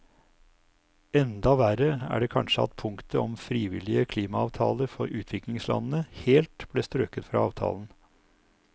Enda verre er det kanskje at punktet om frivillige klimaavtaler for utviklingslandene helt ble strøket fra avtalen.